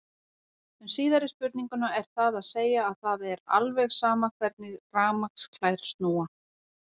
Um síðari spurninguna er það að segja að það er alveg sama hvernig rafmagnsklær snúa.